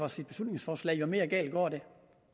for sit beslutningsforslag jo mere galt går det